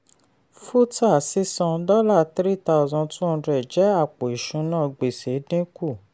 futa sísan dollar three thousand two hndred jẹ́ àpò ìṣúná gbèsè dínkù.